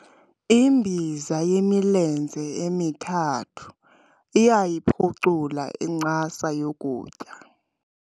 Imbiza yemilenze emithathu iyayiphucula incasa yokutya.